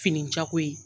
Fini jako ye